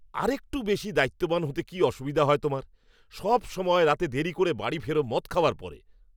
আরেকটু বেশি দায়িত্ববান হতে কী অসুবিধা হয় তোমার? সবসময় রাতে দেরি করে বাড়ি ফেরো মদ খাওয়ার পরে!